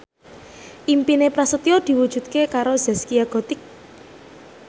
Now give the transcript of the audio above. impine Prasetyo diwujudke karo Zaskia Gotik